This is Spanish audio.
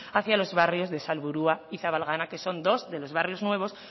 hacia los barrios de salburua y zabalgana que son dos de los barrios nuevos